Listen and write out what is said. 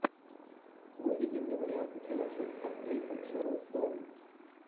выведи мне варианты киношек с актрисой шерон стоун